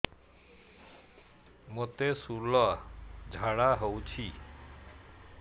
ମୋତେ ଶୂଳା ଝାଡ଼ା ହଉଚି